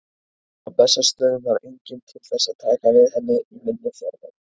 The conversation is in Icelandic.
Á Bessastöðum var enginn til þess að taka við henni í minni fjarveru.